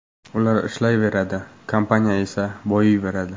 Ular ishlayveradi, kompaniya esa boyiyveradi.